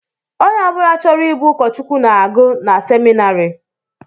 Ónyé ọbula chọrọ ịbụ ukochukwu na-agu n'seminarii.